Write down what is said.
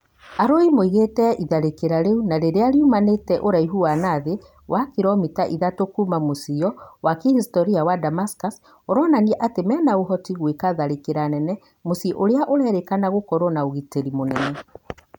Arũi maugĩte itharĩkĩra rĩu na rĩrĩa rĩaumĩrire ũraihu wa nathĩ na kiromita ithatũ kuma mũciio wa kĩhistoria wa Damascus, ũronania atĩ mena ũhoti wa gwĩka tharĩkĩra nene muciĩni ũrĩa ũrerĩkana gũkorwo na ũgitĩri mũnene